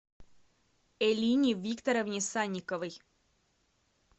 элине викторовне санниковой